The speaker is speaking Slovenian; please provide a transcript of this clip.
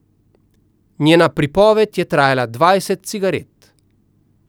Njena pripoved je trajala dvajset cigaret.